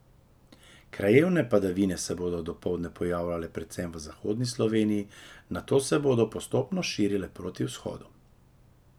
Krajevne padavine se bodo dopoldne pojavljale predvsem v zahodni Sloveniji, nato se bodo postopno širile proti vzhodu.